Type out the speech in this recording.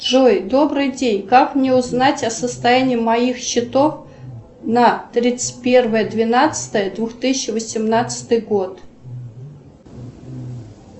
джой добрый день как мне узнать о состоянии моих счетов на тридцать первое двенадцатое две тысячи восемнадцатый год